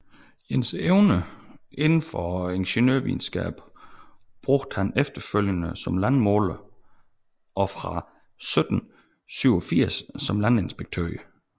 Sine evner inden for ingeniørvidenskaben brugte han efterfølgende som landmåler og fra 1785 som landinspektør